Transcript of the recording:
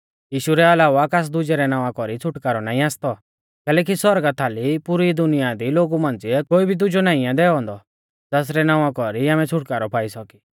यीशु रै अलावा कास दुजै रै नावां कौरी छ़ुटकारौ नाईं आसती कैलैकि सौरगा थाल पुरी दुनिया दी लोगु मांझ़िऐ कोई दुजौ नाऊं नाईं आ दैऔ औन्दौ ज़ासरै नावां कौरी आमै छ़ुटकारौ पाई सौका